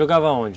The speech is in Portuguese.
Jogava aonde?